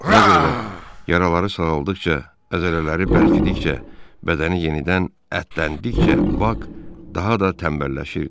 Buna görə də yaraları sağaldıqca, əzələləri bərkidikcə, bədəni yenidən ətləndikcə, bak daha da tənbəlləşirdi.